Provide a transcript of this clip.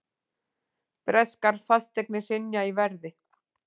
Breskar fasteignir hrynja í verði